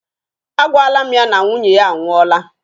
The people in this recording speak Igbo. A gwala mụ ya na nwunye ya a nwụọla.